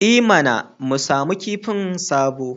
I mana! mu samu kifin sabo